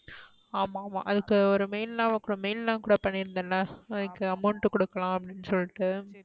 ஆமா ஆமா அதுக்கு ஒரு mail லாம் mail லாம் கூட பன்னிருந்தேள்ள அதுக்கு amount கூடுக்கலண்டு